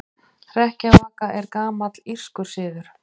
Hrekkjavaka er gamall írskur siður.